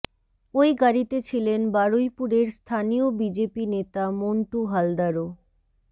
ওই গাড়িতে ছিলেন বারুইপুরের স্থানীয় বিজেপি নেতা মন্টু হালদারও